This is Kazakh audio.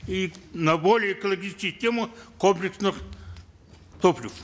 и на более экологических комплексных топлив